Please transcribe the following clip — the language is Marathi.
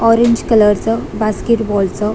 ऑरेंज कलर च बास्केट बॉल च--